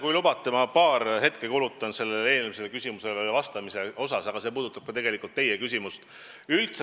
Kui lubate, ma paar hetke kulutan eelmisele küsimusele vastamiseks, sest see puudutab tegelikult ka teie küsimust.